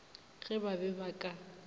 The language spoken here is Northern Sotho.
ge ba be ba ka